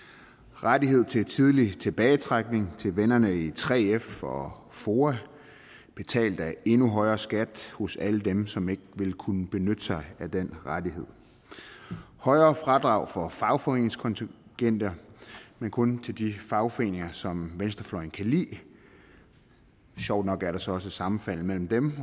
rettigheder til tidlig tilbagetrækning til vennerne i 3f og foa betalt af endnu højere skat hos alle dem som ikke vil kunne benytte sig af den rettighed og højere fradrag for fagforeningskontingenter men kun til de fagforeninger som venstrefløjen kan lide sjovt nok er der så også et sammenfald mellem dem